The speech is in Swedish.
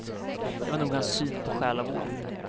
Det var nog hans syn på själavård.